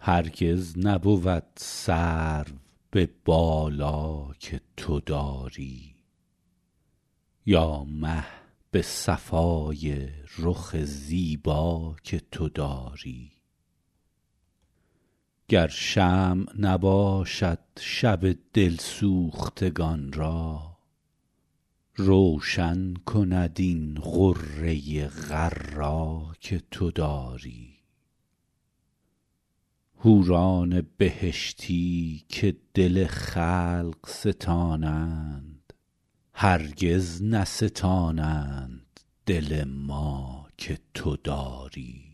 هرگز نبود سرو به بالا که تو داری یا مه به صفای رخ زیبا که تو داری گر شمع نباشد شب دل سوختگان را روشن کند این غره غر‍ ا که تو داری حوران بهشتی که دل خلق ستانند هرگز نستانند دل ما که تو داری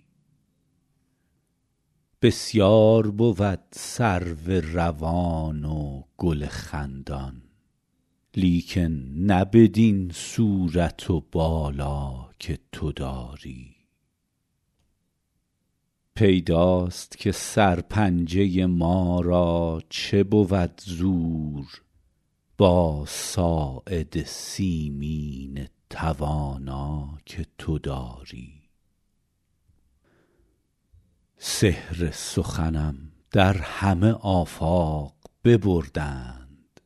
بسیار بود سرو روان و گل خندان لیکن نه بدین صورت و بالا که تو داری پیداست که سرپنجه ما را چه بود زور با ساعد سیمین توانا که تو داری سحر سخنم در همه آفاق ببردند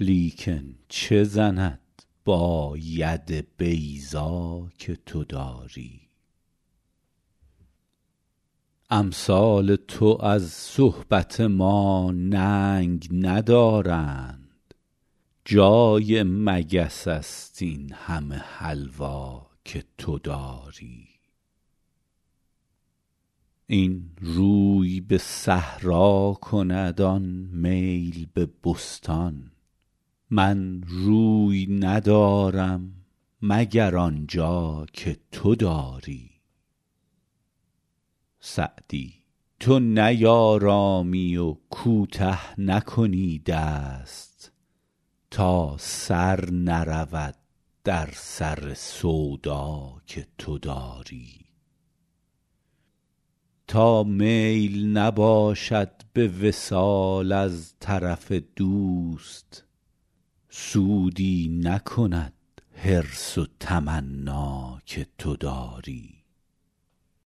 لیکن چه زند با ید بیضا که تو داری امثال تو از صحبت ما ننگ ندارند جای مگس است این همه حلوا که تو داری این روی به صحرا کند آن میل به بستان من روی ندارم مگر آن جا که تو داری سعدی تو نیآرامی و کوته نکنی دست تا سر نرود در سر سودا که تو داری تا میل نباشد به وصال از طرف دوست سودی نکند حرص و تمنا که تو داری